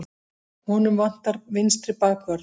Honum vantar vinstri bakvörð.